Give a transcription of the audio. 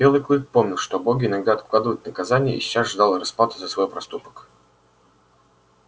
белый клык помнил что боги иногда откладывают наказание и сейчас ждал расплаты за свой проступок